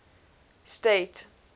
state